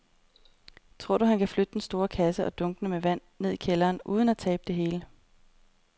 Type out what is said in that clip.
Tror du, at han kan flytte den store kasse og dunkene med vand ned i kælderen uden at tabe det hele?